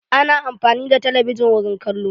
A na amfani da talabijin wurin kallo.